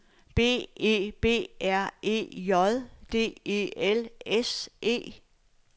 B E B R E J D E L S E